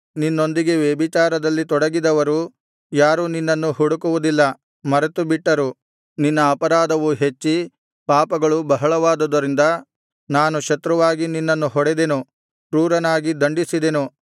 ನಿನ್ನೊಂದಿಗೆ ವ್ಯಭಿಚಾರದಲ್ಲಿ ತೊಡಗಿದವರು ಯಾರೂ ನಿನ್ನನ್ನು ಹುಡುಕುವುದಿಲ್ಲ ಮರೆತುಬಿಟ್ಟರು ನಿನ್ನ ಅಪರಾಧವು ಹೆಚ್ಚಿ ಪಾಪಗಳು ಬಹಳವಾದುದರಿಂದ ನಾನು ಶತ್ರುವಾಗಿ ನಿನ್ನನ್ನು ಹೊಡೆದೆನು ಕ್ರೂರನಾಗಿ ದಂಡಿಸಿದೆನು